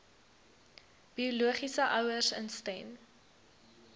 biologiese ouers instem